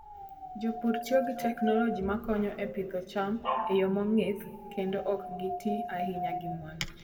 Jopur tiyo gi teknoloji makonyo e pidho cham e yo mong'ith kendo ok giti ahinya gi mwandu.